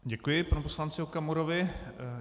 Děkuji panu poslanci Okamurovi.